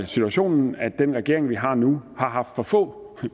situationen at den regering vi har nu har haft for få